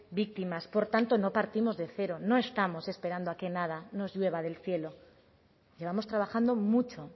víctimas por tanto no partimos de cero no estamos esperando a que nada nos llueva del cielo llevamos trabajando mucho